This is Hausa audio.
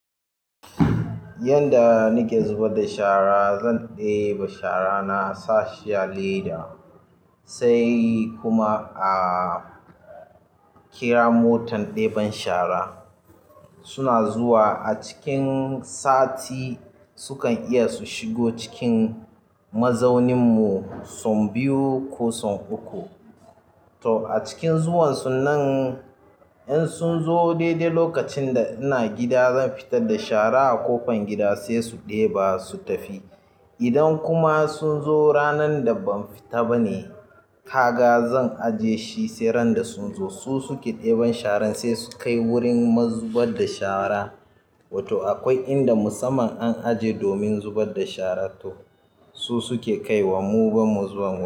Yanda nake zubar da shara zan ɗeba shara na sa sha leda sai kuma a kira motan ɗeban shara. Suna zuwa a cikin sati sukan iya su shigo cikin mazaunin mu son biyu ko son uku. Toh acikin zuwan sun nan in sun zo ni dai lokacin da ina gida zan fitar da shara a ƙofan gida sai su ɗeba shara su tafi idan kuma sun zo ranan da ban fita bane kaga zan ajje shi sai randa sun zo su suke deban shara sai su kai wurin zubar da shara. Wato akwai inda musamman an aje domin zubar da shara toh su suke kai wa mu ba mu zuwa mu.